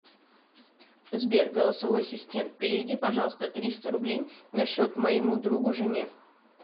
сбер голосовой ассистент переведи пожалуйста триста рублей на счет моему другу жене